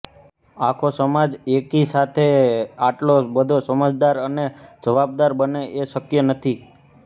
આખો સમાજ એકી સાથે આટલો બધો સમજદાર અને જવાબદાર બને એ શક્ય નથી